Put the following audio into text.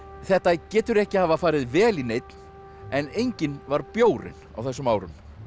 þetta getur ekki hafa farið vel í neinn en enginn var bjórinn á þessum árum